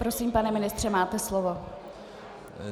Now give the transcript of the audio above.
Prosím, pane ministře, máte slovo.